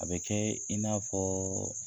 A bɛ kɛ i n'a fɔ